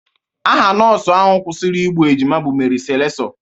Aha nọọsụ ahụ kwụsịrị igbu ejima bụ Meri Selessọ